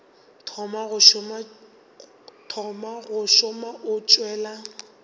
thoma go šoma o tšwela